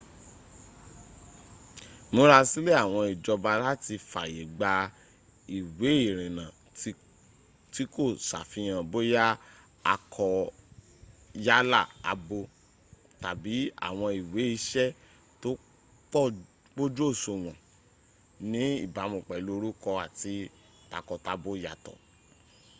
ìmúrasílè àwọn ìjọba láti fàyè gba ìwẹ́ ìrinnà tí kò sàfihàn bóyá akọ yálà abo x tàbí àwọn ìwẹ isẹ́ tó pójúòsùwòn ní ìbámu pèlú orúko àti takọ-tabo yàtọ̀